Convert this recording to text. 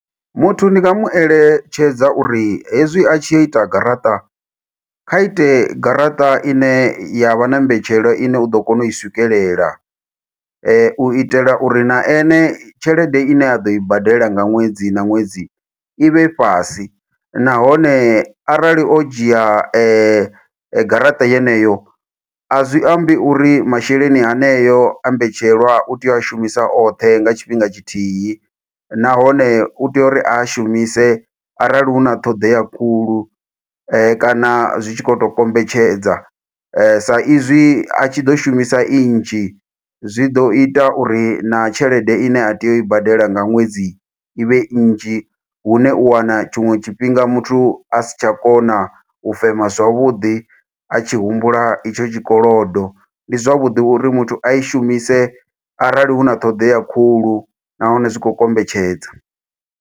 Muthu ndi nga mu eletshedza uri hezwi a tshi yo ita garaṱa, kha ite garaṱa ine ya vha na mbetshelwa ine u ḓo kona u i swikelela. U itela uri na ene tshelede ine ya ḓo i badela nga ṅwedzi na ṅwedzi, i vhe fhasi. Nahone arali o dzhia garaṱa yeneyo, a zwi ambi uri masheleni haneyo a mbetshelwa, u tea u a shumisa oṱhe nga tshifhinga tshithihi. Nahone u tea uri a a shumise arali huna ṱhoḓea khulu, kana zwi tshi khou to kombetshedza. Sa izwi a tshi ḓo shumisa i nzhi, zwi ḓo ita uri na tshelede ine a tea u i badela nga ṅwedzi ivhe nnzhi. Hune u wana tshiṅwe tshifhinga muthu a si tsha kona u fema zwavhuḓi, a tshi humbula itsho tshikolodo. Ndi zwavhuḓi uri muthu a i shumise arali huna ṱhoḓea khulu nahone, zwi khou kombetshedza.